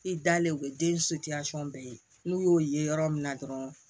I dalen o ye den bɛɛ ye n'u y'o ye yɔrɔ min na dɔrɔn